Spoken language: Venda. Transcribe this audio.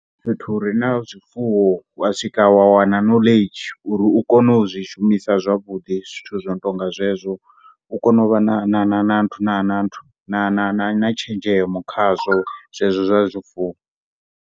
Fhethu hure na zwifuwo wa swika wa wana knowledge uri kone u zwi shumisa zwavhuḓi zwithu zwino tonga zwezwo u kono vha na tshenzhemo khazwo zwifuwo.